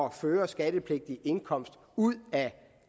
at føre skattepligtig indkomst ud af